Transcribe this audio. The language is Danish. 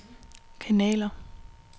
kanaler